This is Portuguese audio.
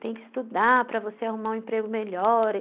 Tem que estudar para você arrumar um emprego melhor.